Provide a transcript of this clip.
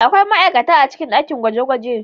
Akwai ma'aikata a cikin dakin gwaje-gwaje.